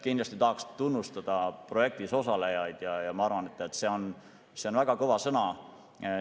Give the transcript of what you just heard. Kindlasti tahan tunnustada projektis osalejaid ja ma arvan, et see on väga kõva sõna.